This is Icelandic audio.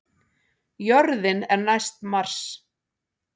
Jörðin er næst Mars!